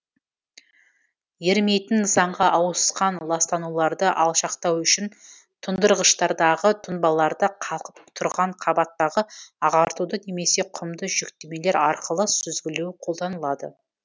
ерімейтін нысанға ауысқан ластануларды алшақтау үшін тұндырғыштардағы тұнбаларды қалқып тұрған қабаттағы ағартуды немесе құмды жүктемелер арқылы сүзгілеу қолданылады